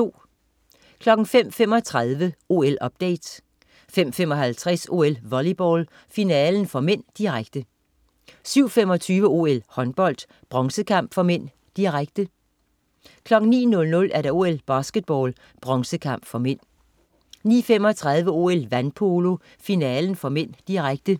05.35 OL-update 05.55 OL: Volleyball, finalen (m), direkte 07.25 OL: Håndbold, bronzekamp (m), direkte 09.00 OL: Basketball, bronzekamp (m) 09.35 OL: Vandpolo, finalen (m), direkte